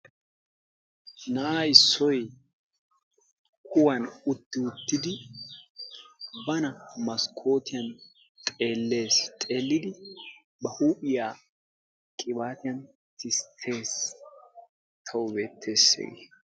Na'aa issoy kuwan utti-wottidi bana maskkotiyan xeelees. xeelidi ba huuphiya qibatiyan tistees. tawu beetees hegee.